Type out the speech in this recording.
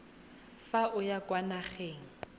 fa o ya kwa nageng